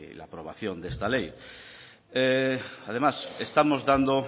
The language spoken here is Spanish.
la aprobación de esta ley además estamos dando